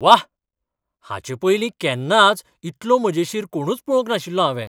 व्वा! हाचेपयलीं केन्नाच इतलो मजेशीर कोणूच पळोवंक नाशिल्लो हांवें!